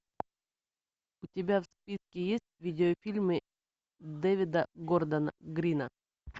у тебя в списке есть видеофильмы дэвида гордона грина